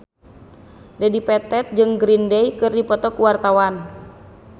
Dedi Petet jeung Green Day keur dipoto ku wartawan